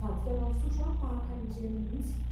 vadika ireny fisotro tahaka ireny mihintsy.